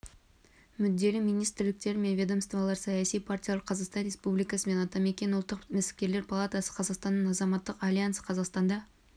мүдделі министрліктер мен ведомстволар саяси партиялар қазақстан республикасының атамекен ұлттық кәсіпкерлер палатасы қазақстанның азаматтық альянсы қазақстанда